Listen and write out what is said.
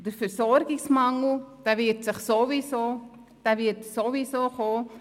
Der Versorgungsmangel wird sowieso eintreffen.